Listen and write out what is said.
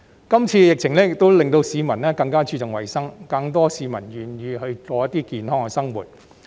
今次疫情亦令到市民更加注重衞生，更多市民願意過健康的生活。